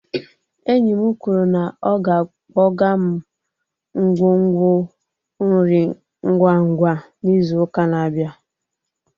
Enyi m kwuru na ọ ga-akpọga m nkwonkwo nri ngwa ngwa n'izu ụka na-abịa.